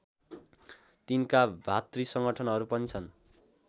तिनका भातृ संगठनहरू पनि छन्